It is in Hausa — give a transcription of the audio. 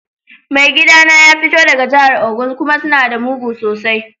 Mai gida na ya fito daga jihar Ogun kuma suna da mugu sosai.